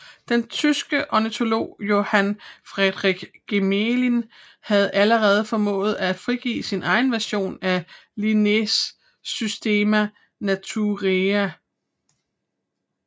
Den tyske ornitolog Johann Friedrich Gmelin havde allerede formået at frigive sin egen version af Linnés Systema Naturae